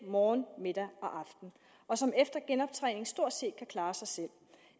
morgen middag og aften og som efter genoptræning stort set kan klare sig selv